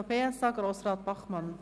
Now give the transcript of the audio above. Das Wort hat Grossrat Bachmann.